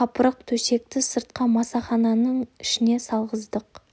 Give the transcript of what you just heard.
қапырық төсекті сыртқа масахананы ішіне салғыздық